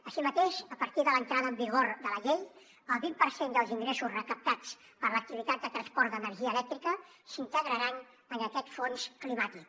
així mateix a partir de l’entrada en vigor de la llei el vint per cent dels ingressos recaptats per l’activitat de transport d’energia elèctrica s’integraran en aquest fons climàtic